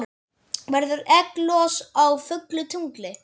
Verður egglos á fullu tungli?